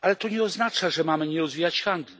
ale to nie oznacza, że mamy nie rozwijać handlu.